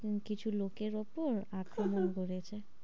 ও কিছু লোকের উপর আক্রমণ করেছে।